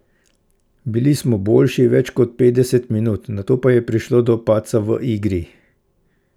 Bili smo boljši več kot petdeset minut, nato pa je prišlo do padca v igri.